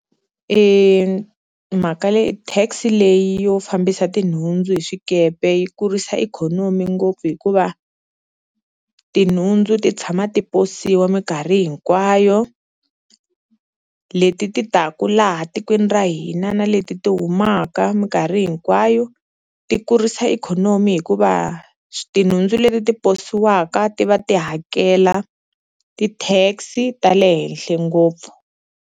Mhaka leyi tax leyi yo fambisa tinhundzu hi swikepe yi kurisa ikhonomi ngopfu hikuva tinhundzu ti tshama ti posiwa minkarhi hinkwayo, leti ti taku laha tikweni ra hina na leti ti humaka minkarhi hinkwayo ti kurisa ikhonomi hikuva tinhundzu leti ti posiwaka ti va ti hakela ti-tax-i ta le henhle ngopfu.